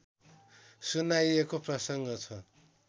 सुनाइएको प्रसङ्ग छ